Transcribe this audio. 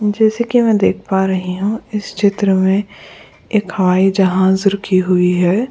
जैसे कि मैं देख पा रही हूं इस चित्र में एक हवाई जहाज रुकी हुई है।